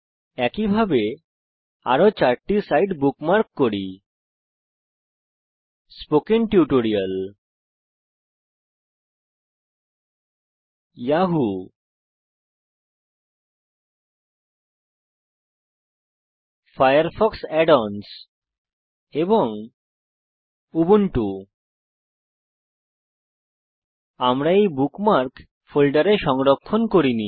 একইভাবে আরো চারটি সাইট বুকমার্ক করি স্পোকেন টিউটোরিয়াল yahooফায়ারফক্স add অন্স এবং উবুন্টু লক্ষ্য করুন যে আমরা এই বুকমার্ক ফোল্ডারে সংরক্ষিত করিনি